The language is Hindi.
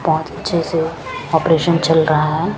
बोत अच्छे से ओपरेशन चल रहा है।